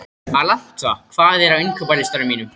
Alanta, hvað er á innkaupalistanum mínum?